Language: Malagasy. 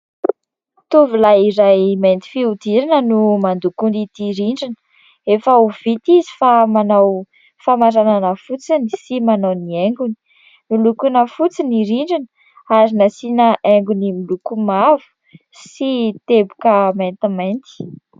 Tovolahy iray mainty fihodirana no mandoko ity rindrina. Efa ho vita izy fa manao famaranana fotsiny sy manao ny haingony. Nolokoina fotsy ny rindrina ary nasiana haingony miloko mavo sy teboka maintimainty.